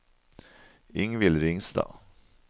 Ingvill Ringstad